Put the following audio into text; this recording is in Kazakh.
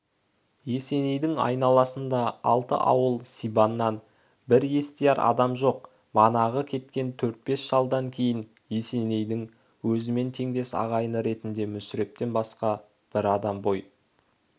есенейдің айналасында алты ауыл сибаннан бір естияр адам жоқ манағы кеткен төрт-бес шалдан кейін есенейдің өзімен теңдес ағайыны ретінде мүсірептен басқа бір адам бой